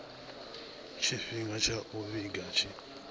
tshifhinga tsha u vhiga tshi